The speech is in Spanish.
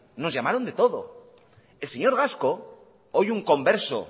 nos llamaron de todo el señor gasco hoy un converso